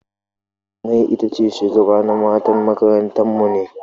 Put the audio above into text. Jummai itace shugabana matan makaranta mu ne.